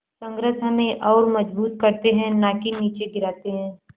संघर्ष हमें और मजबूत करते हैं नाकि निचे गिराते हैं